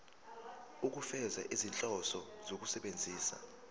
ukufeza izinhloso zokusebenzisa